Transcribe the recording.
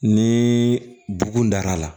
Ni bugun dar'a la